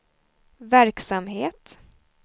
verksamhet